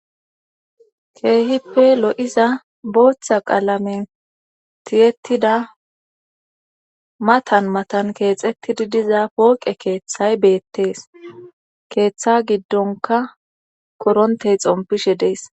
keehippe lo7iza booththa qaalamen tiyettida matan matan keexettidi diza pooqe keeththay beettees keeththa giddonka korontey xompishe dees